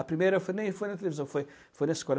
A primeira foi nem foi na televisão, foi foi na escola.